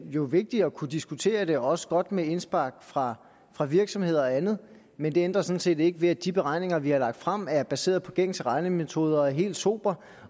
jo vigtigt at kunne diskutere det og også godt med indspark fra fra virksomheder og andet men det ændrer sådan set ikke ved at de beregninger vi har lagt frem er baseret på gængse regnemetoder og helt sobre